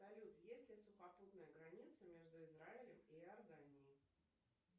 салют есть ли сухопутная граница между израилем и иорданией